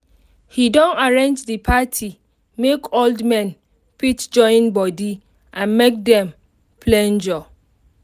he don arrange the party make old men fit join body and make dem flenjor